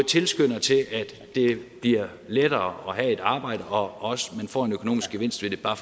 tilskynder til at det bliver lettere at have et arbejde og også at man får en økonomisk gevinst ved det bare